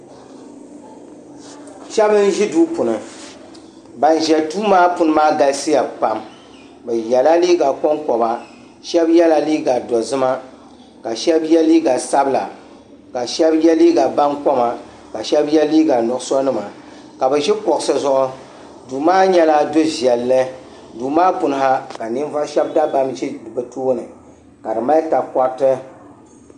Sheba n ʒi duu puuni ban ʒiya dʋʋ maa puuni galisiya pam be yala liiga konkoba shaba yɛla liiga doʒima ka shaba yɛ liiga sabila ka shaba yɛ liiga bankoma ka shaba yɛ liiga nuɣso nima ka be ʒi kuɣsi zuɣu duu maa nyɛ la duvɛlli duu maa puuni ha ka ninvuɣ shɛba dabam za be tooni ka di mali takorti